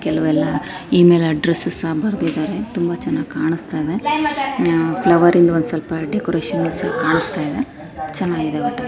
ಕೆಲವೆಲ್ಲಾ email address ಸಹ ಬರದಿದ್ದಾರೆ ತುಂಬಾ ಚನ್ನಾಗಿ ಕಾಣಸ್ತಾ ಇದೆ ಫ್ಲವರ್ ರಿಂದು ಒಂದ ಸಲ್ಪ ಡೆಕೋರೇಷನ್ ಸಹ ಕಾಣಸ್ತಿದೆ ಚನ್ನಾಗಿದೆ ಒಟ್ಟ.